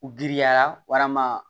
U girinya ma